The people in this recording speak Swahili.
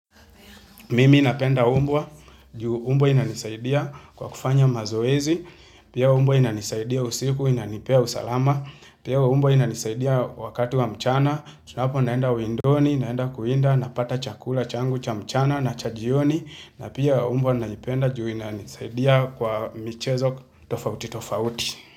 Mimi napenda umbwa juu mbwa inanisaidia kwa kufanya mazoezi, pia mbwa inanisaidia usiku inanipea usalama, pia mbwa inanisaidia wakati wa mchana, tunaponenda windoni, naenda kuwinda, napata chakula changu cha mchana na cha jioni, na pia mbwa naipenda juu inanisaidia kwa michezo tofauti tofauti.